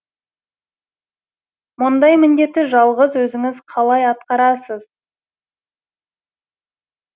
мұндай міндетті жалғыз өзіңіз қалай атқарасыз